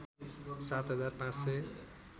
सात हजार पाँच सय